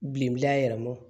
Bilen a yɛrɛma